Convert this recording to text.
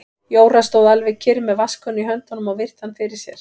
Jóra stóð alveg kyrr með vatnskönnu í höndunum og virti hann fyrir sér.